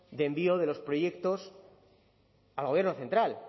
de envío de los proyectos al gobierno central